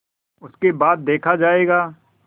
उसके बाद देखा जायगा